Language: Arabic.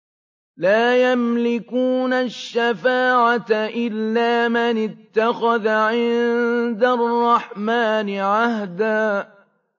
لَّا يَمْلِكُونَ الشَّفَاعَةَ إِلَّا مَنِ اتَّخَذَ عِندَ الرَّحْمَٰنِ عَهْدًا